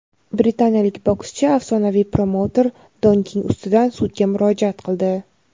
Britaniyalik bokschi afsonaviy promouter Don King ustidan sudga murojaat qildi.